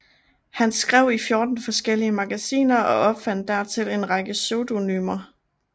Han skrev i fjorten forskellige magasiner og opfandt dertil en række pseudonymer